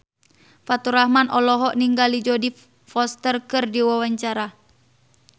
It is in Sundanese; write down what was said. Faturrahman olohok ningali Jodie Foster keur diwawancara